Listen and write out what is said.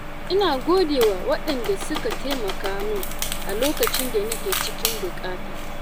Ina godewa waɗanda suka taimaka min a lokacin da nake cikin buƙata.